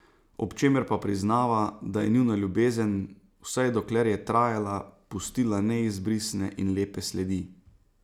Ob čemer pa priznava, da je njuna ljubezen, vsaj dokler je trajala, pustila neizbrisne in lepe sledi.